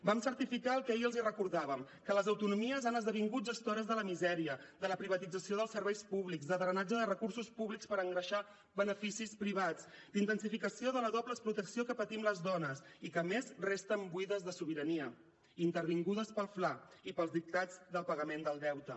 vam certificar el que ahir els recordàvem que les autonomies han esdevingut gestores de la misèria de la privatització dels serveis públics de drenatge de recursos públics per engreixar beneficis privats d’intensificació de la doble explotació que patim les dones i que a més resten buides de sobirania intervingudes pel fla i pels dictats del pagament del deute